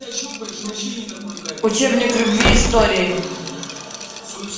учебник любви истории